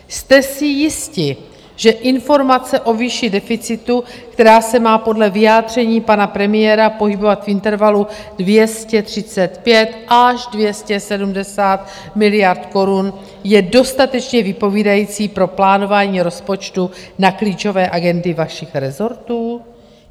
Jste si jisti, že informace o výši deficitu, která se má podle vyjádření pana premiéra pohybovat v intervalu 235 až 270 miliard korun, je dostatečně vypovídající pro plánování rozpočtu na klíčové agendy vašich rezortů?